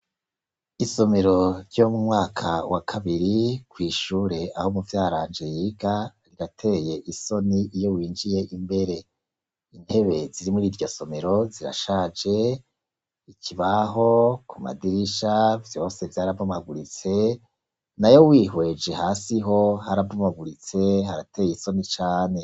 Isomero ryo mu mwaka wa kabiri kw' ishuri aho muvyaranje yiga, rirateye isoni iyo winjiye imbere. Intebe ziri muri iryo somero zirashaje, ikibaho, ku madirisha, vyose vyarabomaguritse, nayo wihweje hasi ho, harabomaguritse harateye isoni cane.